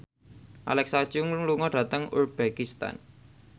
Alexa Chung lunga dhateng uzbekistan